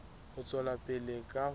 ho tswela pele ka ho